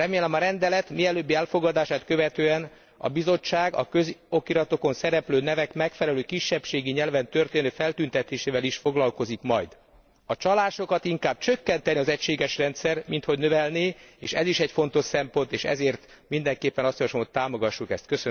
Remélem, a rendelet mielőbbi elfogadását követően a Bizottság a közokiratokon szereplő nevek megfelelő kisebbségi nyelven történő feltüntetésével is foglalkozik majd. A csalásokat inkább csökkentené az egységes rendszer, minthogy növelné, és ez is egy fontos szempont, ezért mindenképpen javaslom, hogy támogassuk ezt.